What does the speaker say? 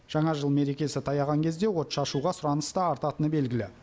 жаңа жыл мерекесі таяған кезде отшашуға сұраныс та артатыны белгілі